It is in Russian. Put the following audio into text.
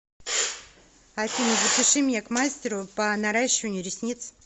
афина запиши меня к мастеру по наращиванию ресниц